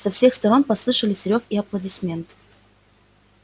со всех сторон послышались рёв и аплодисменты